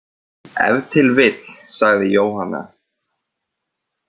Ef til vill, sagði Jóhanna.